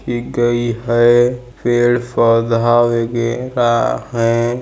की गई है पेड़ पौधा वगेरह है ।